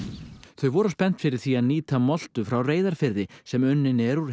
þau voru spennt fyrir því að nýta moltu frá Reyðarfirði sem unnin er úr